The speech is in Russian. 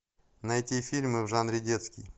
найти фильмы в жанре детский